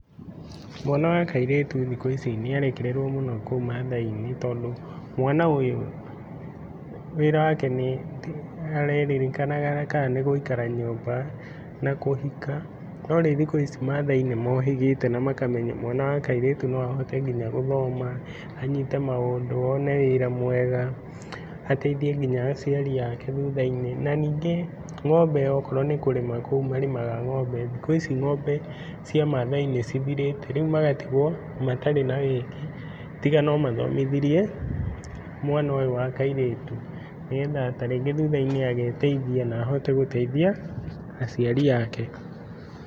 Mwana wa kairĩtu thikũ ici nĩarekerĩrwo mũno kũu mathai-inĩ tondũ mwana ũyũ wĩra wake nĩ arerĩrĩkanaga ka nĩgũikara nyũmba na kũhika. No rĩu thikũ ici mathai nĩ mohĩgĩte na makamenya mwana wakairĩtu no ahote nginya gũthoma anyite maũndũ one wĩra mwega, ateithie nginya aciari ake thutha-inĩ. Na nyingĩ ng'ombe okorwo nĩkũrĩma kũu marĩmaga ng'ombe, thikũ ici ng'ombe cia mathai nĩcithirĩte rĩu magatigwo matarĩ na ng'ombe tiga nomathomithirie mwana ũyũ wakairĩtu nĩgetha tarĩngĩ thutha-inĩ ageteithia na ahote gũteithia aciari ake.